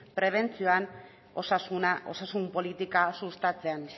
prebentzioan osasuna osasun politika sustatzean